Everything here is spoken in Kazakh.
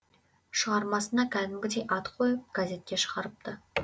шығармасына кәдімгідей ат қойып газетке шығарыпты